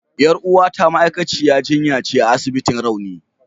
Yar uwata ma'aikaciyar jinya ce a asibitin rauni.